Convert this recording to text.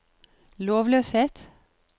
lovløshet